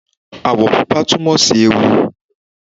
Ààwọ̀ pupa túmọ̀ sí ewu